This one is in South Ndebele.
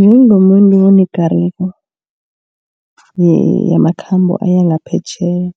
Njengomuntu onekareko yamakhambo aya ngaphetjheya.